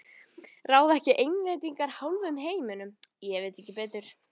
Ráða ekki Englendingar hálfum heiminum, ég veit ekki betur.